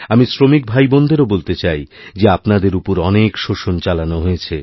আমি শ্রমিক ভাইবোনদেরও বলতে চাই যে আপনাদের উপর অনেক শোষণ চালানোহয়েছে